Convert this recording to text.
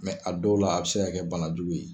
Mɛ a dɔw la a bi se ka kɛ bana jugu ye.